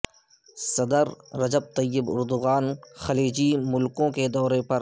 صدر Recep Tayyip Erdogan خلیجی ملکوں کے دورے پر